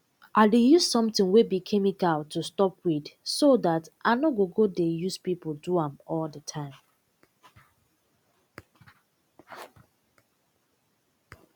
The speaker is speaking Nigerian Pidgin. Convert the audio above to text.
i dey use sometin wey be chemical to stop weed so dat i nor go go dey use pipo do am all de time